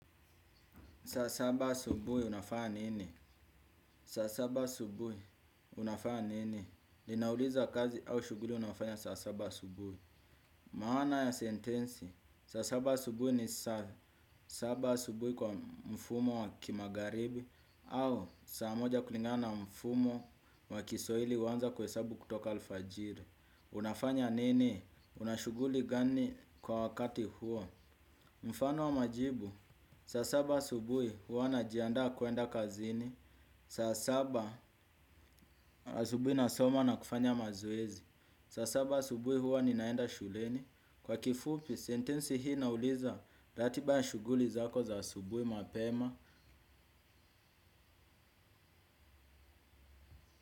Sa saba asubuhi unafanya nini? Sa saba asubuhi unafanya nini? Ninauliza kazi au shughuli unaofanya saa saba asubuhi. Maana ya sentensi. Saa saba asubuhi ni sa saba asubuhi kwa mfumo wa kimagharibi au saa moja kulingana na mfumo wa kiswahili huanza kuhesabu kutoka alfajiri. Unafanya nini? Unashughuli gani kwa wakati huo? Mfano wa majibu. Saa saba asubuhi huwa najiandaa kuenda kazini. Saa saba asubuhi nasoma na kufanya mazoezi. Saa saba asubuhi huwa ninaenda shuleni kwa kifupi sentensi hii inauliza ratiba ya shughuli zako za asubuhi mapema.